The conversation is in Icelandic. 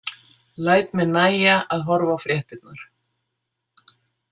Læt mér nægja að horfa á fréttirnar.